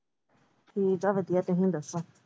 ਠੀਕ ਏ ਵਧੀਆ ਤੁਸੀਂ ਦੱਸੋ।